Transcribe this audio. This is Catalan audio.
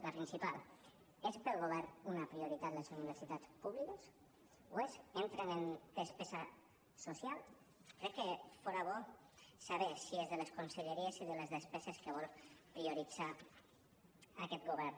la principal és pel govern una prioritat les universitats públiques ho és entren en despesa social crec que fora bo saber si és de les conselleries i de les despeses que vol prioritzar aquest govern